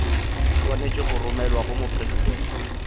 swanetše go romelwa go mopresidente